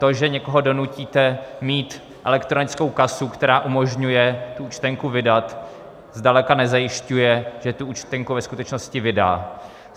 To, že někoho donutíte mít elektronickou kasu, která umožňuje tu účtenku vydat, zdaleka nezajišťuje, že tu účtenku ve skutečnosti vydá.